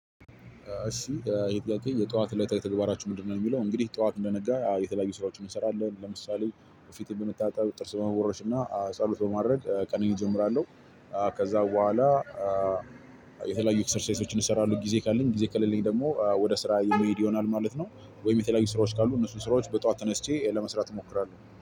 እሺ የጠዋት እለታዊ ተግባራችሁ ምንድን ነው ሚለው? እንግዲህ ጠዋት እንደነጋ የተለያዩ ስራዎችን እንሰራለን ለምሳሌ ፊትን መታጠብ ጥርስ በመቦረሽ እና ጸሎት በማድረግ ቀኔን እጀምራለሁ። ከዛ በኋላ። የተለያዩ ኤክሰርሳይሶችን እሰራለሁ ጊዜ ካለኝ ጊዜ ከሌለኝ ደግሞ ወደ ስራ የሚሄድ ይሆናል ማለት ነው። ወይም የተለያዩ ስራዎች ካሉ እነሱን ስራዎች በጠዋት ተነስቼ ለመስራት እሞክራለሁ